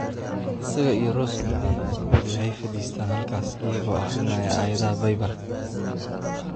Isaga iyo Rose mararka qaarkood waxay fadhiistaan ​​halkaas iyagoo akhrinaya aayadaha Baybalka.